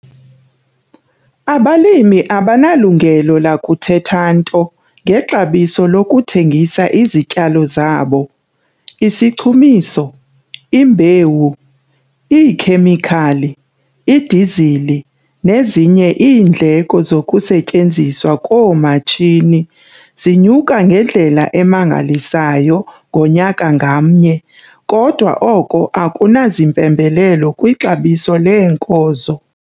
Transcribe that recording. Abalimi abanalungelo lakuthetha nto ngexabiso lokuthengisa izityalo zabo. Isichumiso, imbewu, iikhemikhali, idizili nezinye iindleko zokusetyenziswa koomatshini, zinyuka ngendlela emangalisayo ngonyaka ngamnye - kodwa oko akunazimpembelelo kwixabiso leenkozo.